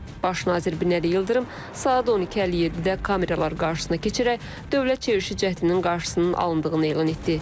Baş nazir Binəli Yıldırım saat 12:57-də kameralar qarşısına keçərək dövlət çevrilişi cəhdinin qarşısının alındığını elan etdi.